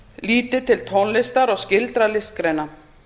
líti til tónlistar og skyldra listgreina